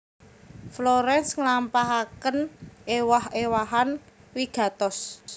Florence nglampahaken èwah èwahan wigatos